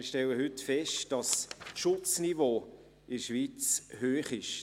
Wir stellen heute fest, dass das Schutzniveau in der Schweiz hoch ist.